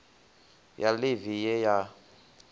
ya ḽeve ḽe ya ya